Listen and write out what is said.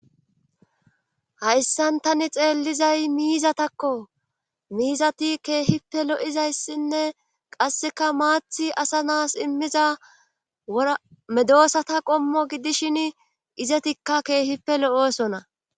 hayssan tani xeellizay miizatakko miizati keehippe lo7izayssinne qasseka maathi asa naas immiza ra medoosata qommo gidishin izetikka keehippe lo7oosona